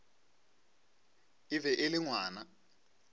e be e le ngwana